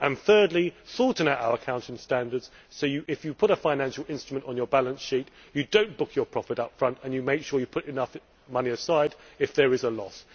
Thirdly, sorting out our accounting standards so that, if you put a financial instrument on your balance sheet, you do not book your profit up front and you make sure you put enough money aside if there is a loss.